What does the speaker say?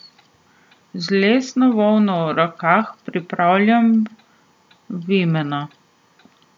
Z lesno volno v rokah pripravljam vimena.